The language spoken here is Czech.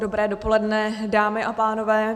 Dobré dopoledne, dámy a pánové.